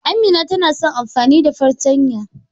Amina tana son amfani da fartanya.